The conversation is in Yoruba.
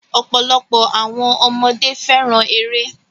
Ọ̀pọ̀lọpọ̀ àwọn ọmọdé fẹ́ràn eré